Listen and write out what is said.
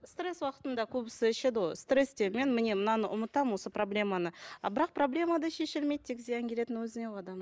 стресс уақытында көбісі ішеді ғой стрессте мен міне мынаны ұмытамын осы проблеманы а бірақ проблема да шешілмейді тек зиян келетін өзіне ғой адамның